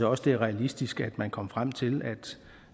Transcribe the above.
også det er realistisk at man kan komme frem til